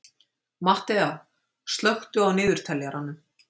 Mattea, slökktu á niðurteljaranum.